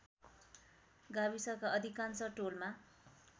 गाविसका अधिकांश टोलमा